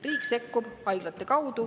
Riik sekkub …